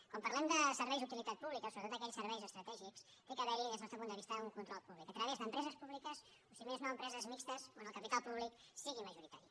quan parlem de serveis d’utilitat pública sobretot d’aquells serveis estratègics hi ha d’haver des del nostre punt de vista un control públic a través d’empreses públiques o si més no empreses mixtes on el capital públic sigui majoritari